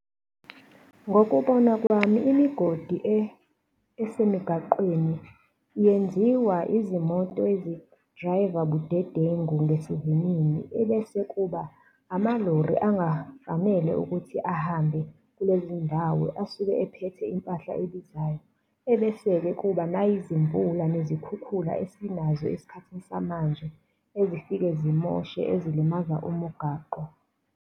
Ngokubona kwami imigodi esemigaqweni yenziwa izimoto ezi-driver budedengu ngesivinini, ebese kuba amalori angafanele ukuthi ahambe kulezindawo asuke ephethe impahla ebizayo, ebese-ke kuba nayizimvula, nezikhukhula esinazo esikhathini samanje, ezifike zimoshe, ezilimaza umugaqo.